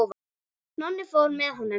Nonni fór með honum.